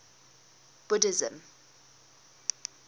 buddhism